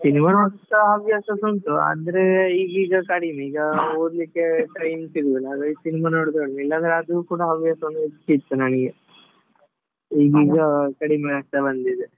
Cinema ನೋಡ್ತಾ ಹವ್ಯಾಸ ಸಾ ಉಂಟು ಆದ್ರೆ ಈಗ್ ಈಗ ಕಡಿಮೆ ಈಗ ಓದ್ಲಿಕ್ಕೆ time ಸಿಗುದಿಲ್ಲ ಆದ್ರೆ cinema ನೋಡುದು ಉಂಟು ಇಲ್ಲದ್ರೆ ಅದು ಕೂಡ ಹವ್ಯಾಸ ಇರ್ತಿತ್ತು ನನ್ಗೆ ಈಗ್ ಈಗ ಕಡಿಮೆ ಆಗ್ತಾ ಬಂದಿದೆ.